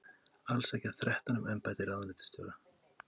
Alls sækja þrettán um embætti ráðuneytisstjóra